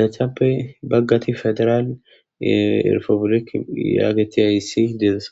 dethappe baggati federaal erfobulek yaageti hayssi deezasa